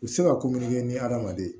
U bɛ se ka kominkɛ ni hadamaden